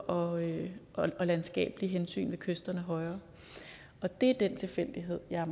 og landskabelige hensyn ved kysterne højere det er den tilfældighed jeg er